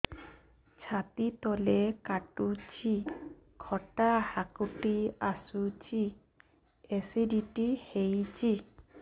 ଛାତି ତଳେ କାଟୁଚି ଖଟା ହାକୁଟି ଆସୁଚି ଏସିଡିଟି ହେଇଚି